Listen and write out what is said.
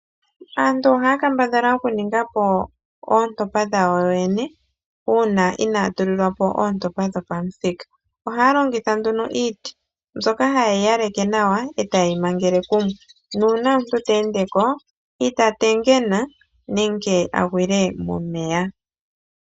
Aantu ohaya kambadhala okuninga po oontopa dhawo yene uuna inaaya tulilwa po oontopa dhopathika. Ohaya longitha nduno iiti, mbyoka hayi yeyi yaleke nawa, etayeyi mangele kumwe. Nuuna omuntu teendeko ita tengena nenge agwile momeya.